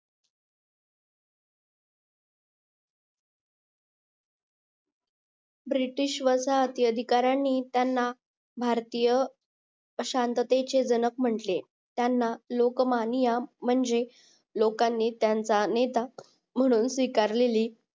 British वसाहती अधिकारीयांनी त्यांना भारतीय अशांततेचे जनक म्हंटले त्यांना लोकमान्य म्हणजे लोकांनी त्यांचा नेता म्हणून स्वीकारलेले